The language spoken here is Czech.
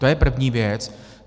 To je první věc.